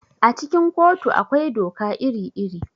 A cikin kotu akwai doka iri-iri.